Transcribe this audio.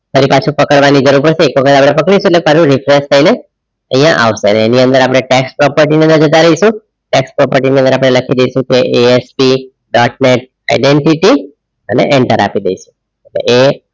ફરી પાછુ પકડવાની જરૂર પડશે તો એક વખત આપણે પકડીશુ એટલે વિશ્વાસ થઈને અહીંયા આવશે એની અંદર આપણે tax property ની અંદર જતા રહીશુ tax property ની અંદર આપણે લખી દઈશું કે ASP identity અને enter આપી દઈશુ.